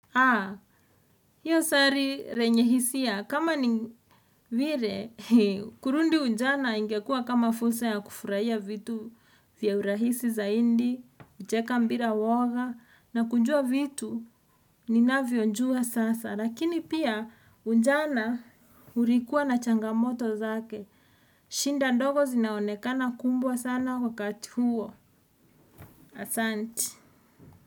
Haa, hiyo sari renye hisia, kama ni vire, kurundi unjana ingekua kama fursa ya kufurahia vitu vya urahisi zaindi, kucheka mbira uwoga, na kunjua vitu, ninavyonjua sasa, lakini pia unjana urikua na changamoto zake, shinda ndogo zinaonekana kumbwa sana wakati huo, asanti.